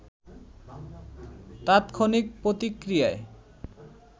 তাৎক্ষণিক প্রতিক্রিয়ায়